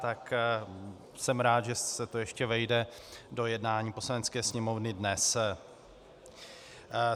Tak jsem rád, že se to ještě vejde do jednání Poslanecké sněmovny dnes.